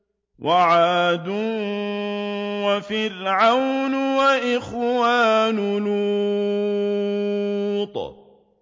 وَعَادٌ وَفِرْعَوْنُ وَإِخْوَانُ لُوطٍ